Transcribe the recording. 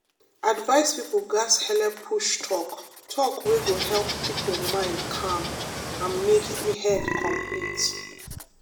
advice people gats helep push talk talk wey go help people mind calm and make head complete.